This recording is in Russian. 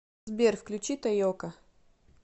сбер включи тайока